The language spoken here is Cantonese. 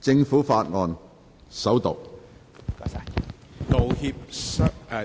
政府法案：首讀。